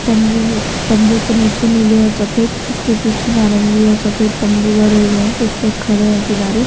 तंबू तंबू के नीचे नीले और सफेद उसके पीछे नारंगी और सफेद तंबू गड़े हुए हैं कुछ लोग खड़े हैं किनारे--